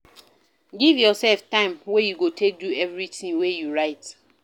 Give yourself time wey you go take do everything wey you write